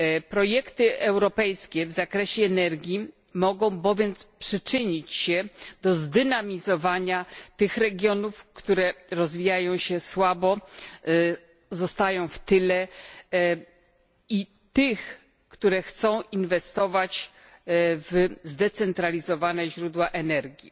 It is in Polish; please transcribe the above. Projekty europejskie w zakresie energii mogą bowiem przyczynić się do zdynamizowania tych regionów, które rozwijają się słabo, zostają w tyle, i tych, które chcą inwestować w zdecentralizowane źródła energii.